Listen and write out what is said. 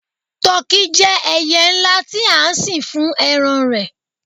tọki je ẹyẹ nla ti a sìn fún eran rẹ